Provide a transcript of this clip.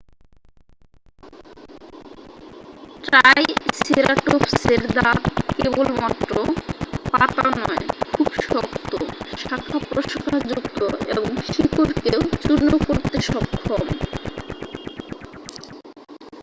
ট্রাইসেরাটোপসের দাঁত কেবলমাত্র পাতা নয় খুব শক্ত শাখা-প্রশাখাযুক্ত এবং শিকড়কেও চূর্ণ করতে সক্ষম